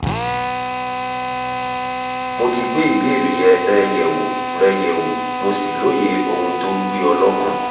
mo ti gbé ìbéèrè rẹ yẹ̀wò rẹ yẹ̀wò mo sì lóye ohun tó ń gbé ọ lọ́kàn